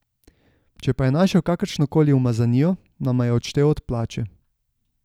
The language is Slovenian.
Če pa je našel kakršnokoli umazanijo, nama je odštel od plače.